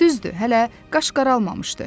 Düzdü, hələ qaş qaralmamışdı.